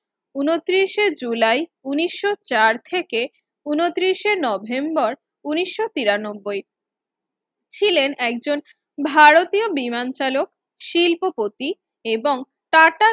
উনতিরিস এ জুলাই উনিশশো চার থেকে উনতিরিস এ নভেম্বর উনিশশো তিরানব্বই ছিলেন একজন ভারতীয় বিমান চালক শিল্পপতি এবং টাটা